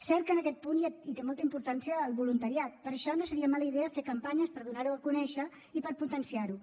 cert que en aquest punt hi té molta importància el voluntariat per això no seria mala idea fer campanyes per donar ho a conèixer i per potenciar ho